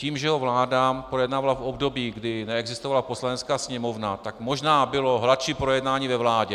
Tím, že ho vláda projednávala v období, kdy neexistovala Poslanecká sněmovna, tak možná bylo hladší projednání ve vládě.